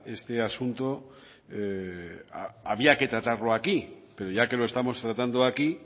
este asunto había que tratarlo aquí pero ya que lo estamos tratando aquí